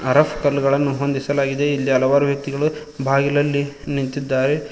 ಅರಫ್ ಕಲ್ಲುಗಳನ್ನು ಹೊಂದಿಸಲಾಗಿದೆ ಇಲ್ಲಿ ಹಲವಾರು ವ್ಯಕ್ತಿಗಳು ಬಾಗಿಲಲ್ಲಿ ನಿಂತಿದ್ದಾರೆ.